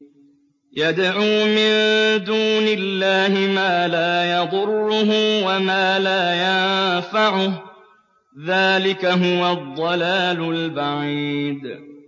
يَدْعُو مِن دُونِ اللَّهِ مَا لَا يَضُرُّهُ وَمَا لَا يَنفَعُهُ ۚ ذَٰلِكَ هُوَ الضَّلَالُ الْبَعِيدُ